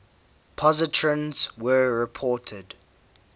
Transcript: positrons were reported